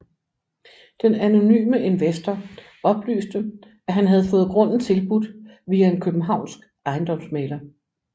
Den anonyme investor oplyste at han havde fået grunden tilbudt via en københavnsk ejendomsmægler